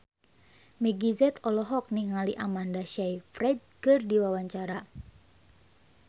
Meggie Z olohok ningali Amanda Sayfried keur diwawancara